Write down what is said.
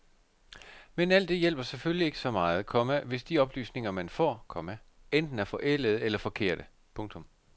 Men alt det hjælper selvfølgelig ikke så meget, komma hvis de oplysninger man får, komma enten er forældede eller forkerte. punktum